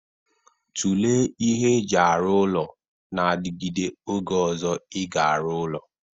Tụlee ihe eji arụ ụlọ na-adigide oge ọzọ ị ga-arụ ụlọ!